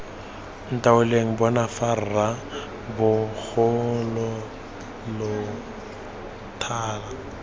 ntaoleng bona fa rra bogologolotala